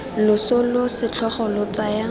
loso lo setlhogo lo tsaya